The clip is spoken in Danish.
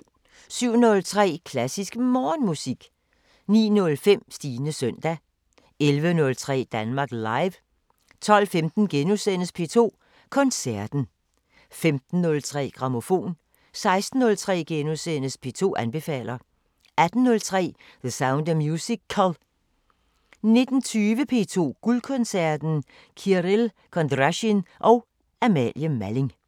07:03: Klassisk Morgenmusik 09:05: Stines søndag 11:03: Danmark Live 12:15: P2 Koncerten * 15:03: Grammofon 16:03: P2 anbefaler * 18:03: The Sound of Musical 19:20: P2 Guldkoncerten: Kirill Kondrasjin og Amalie Malling